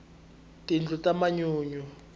tindlu ta manyunyu